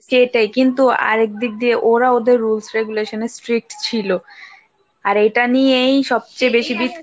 এটাই কিন্তু আরেক দিক দিয়ে ওরা ওদের rules regulations এ strict ছিল, আর এটা নিয়েই সবচেয়ে বেশি